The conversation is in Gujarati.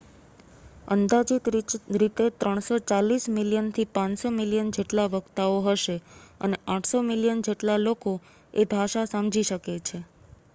અંદાજિત રીતે 340 મિલિયનથી 500 મિલિયન જેટલા વક્તાઓ હશે અને 800 મિલિયન જેટલા લોકો એ ભાષા સમજી શકે છે